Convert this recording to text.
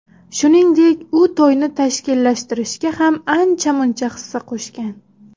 Shuningdek, u to‘yni tashkillashtirishga ham ancha-muncha hissa qo‘shgan.